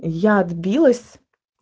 я отбилась